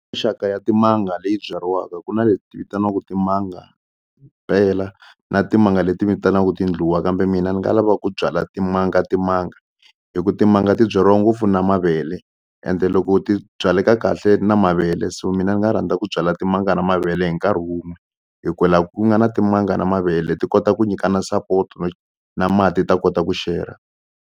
Mixaka ya timanga leyi byariwaka ku na leti vitaniwaka timanga na timanga leti vitaniwaka tindluwa kambe mina ni nga lava ku byala timanga timanga hi ku timanga ti byariwa ngopfu na mavele ende loko ti byaleka kahle na mavele so mina ni nga rhandza ku byala timanga na mavele hi nkarhi wun'we hi ku la ku nga na timanga na mavele ti kota ku nyikana support-o na mati ta kota ku share.